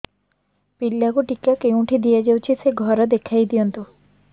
ପିଲାକୁ ଟିକା କେଉଁଠି ଦିଆଯାଉଛି ସେ ଘର ଦେଖାଇ ଦିଅନ୍ତୁ